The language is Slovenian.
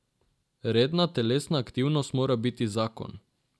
Redna telesna aktivnost mora biti zakon.